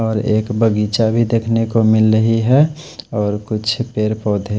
और एक बगीचा भी देख नेको मिल रहे है और कुछ पेड़ पौधे--